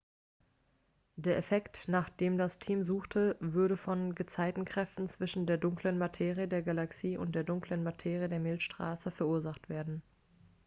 der effekt nach dem das team suchte würde von gezeitenkräften zwischen der dunklen materie der galaxie und der dunklen materie der milchstraße verursacht werden